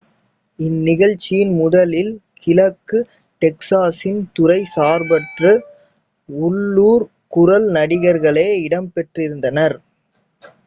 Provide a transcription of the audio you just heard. இந்நிகழ்ச்சியின் முதலில் கிழக்கு டெக்சாசின் துறை சார்பற்ற உள்ளூர் குரல் நடிகர்களே இடம்பெற்றிருந்தனர்